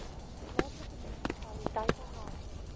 plaaslike munisipaliteite help